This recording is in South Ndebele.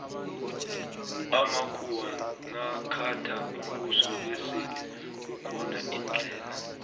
amakhuwa nakhatha umbuso besele kukhona indlela